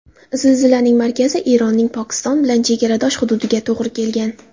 Zilzilaning markazi Eronning Pokiston bilan chegara hududiga to‘g‘ri kelgan.